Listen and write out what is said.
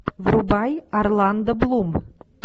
врубай орландо блум